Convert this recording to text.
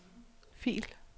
fil